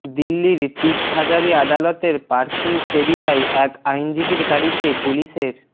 দিল্লির তিসহাজারি আদালতের পার্কিং এরিয়ায় এক আইনজীবীর গাড়িতে পুলিশের